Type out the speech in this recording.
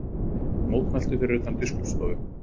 Mótmæltu fyrir utan Biskupsstofu